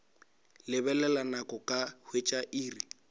lebelela nako ka hwetša iri